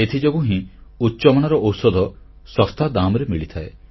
ଏଥିଯୋଗୁଁ ହିଁ ଉଚ୍ଚମାନର ଔଷଧ ଶସ୍ତା ଦାମରେ ମିଳିଥାଏ